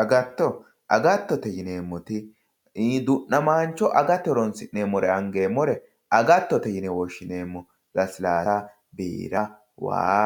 agatto agattote yineemmoti du'namaancho agate horonsi'nemmore angeemmore agattote yine woshshineemmo lasilaassa, biira, waa,